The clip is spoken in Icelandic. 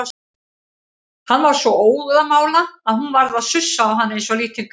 Hann var svo óðamála að hún varð að sussa á hann eins og lítinn krakka.